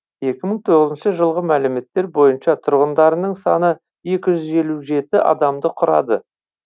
екі мың тоғызыншы жылғы мәліметтер бойынша тұрғындарының саны екі жүз елу жеті адамды құрады